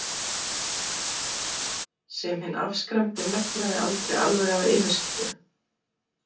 sem hinn afskræmdi megnaði aldrei alveg að yfirskyggja.